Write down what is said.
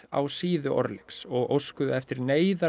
á síðu og óskuðu eftir